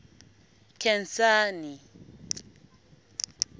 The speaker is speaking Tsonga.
khensani